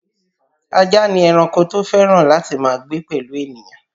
Ajá ni ẹranko tó fẹ́ràn láti máa gbé pẹ̀lú ènìyàn